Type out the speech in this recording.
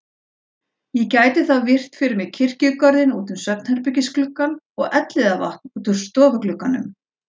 Ég gæti þá virt fyrir mér kirkjugarðinn út um svefnherbergisgluggann og Elliðavatn úr stofuglugganum.